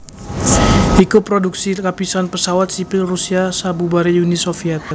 iku prodhuksi kapisan pesawat sipil Rusia sabubaré Uni Soviet